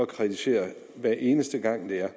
kritisere hver eneste gang det